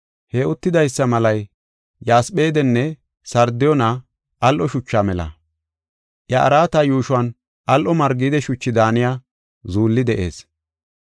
He uttidaysa malay yasphedenne sardiyoone al7o shucha mela. Iya araata yuushuwan al7o margide shuchi daaniya zuulli de7ees.